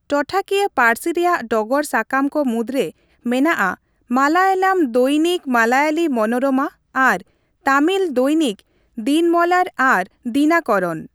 ᱴᱚᱴᱷᱟᱠᱤᱭᱟᱹ ᱯᱟᱹᱨᱥᱤ ᱨᱮᱭᱟᱜ ᱰᱚᱜᱚᱨ ᱥᱟᱠᱟᱢ ᱠᱚ ᱢᱩᱫᱽᱨᱮ ᱢᱮᱱᱟᱜᱼᱟ ᱢᱟᱞᱟᱭᱟᱞᱟᱢ ᱫᱚᱭᱱᱤᱠ ᱢᱟᱞᱭᱟᱞᱤ ᱢᱚᱱᱳᱨᱚᱢᱟ ᱟᱨ ᱛᱟᱢᱤᱞ ᱫᱚᱭᱱᱤᱠ ᱫᱤᱱᱢᱚᱞᱟᱨ ᱟᱨ ᱫᱤᱱᱟᱠᱚᱨᱚᱱ ᱾